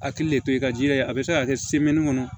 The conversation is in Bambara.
A hakili de to yen ka jija yen a bɛ se ka kɛ kɔnɔ